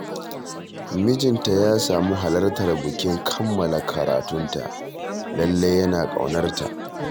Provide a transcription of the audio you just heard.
Mijinta ya samu halartar bikin kammala karatunta, lallai yana ƙaunarta